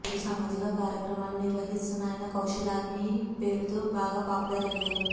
పలు సామాజిక కార్యక్రమాలు నిర్వహిస్తున్న ఆయన కౌశల్ ఆర్మీ పేరుతో బాగా పాపులర్ అయ్యారు